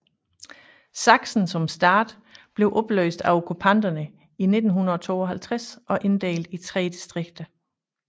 Sachsen som stat blev opløst af okkupanterne i 1952 og inddelt i tre distrikter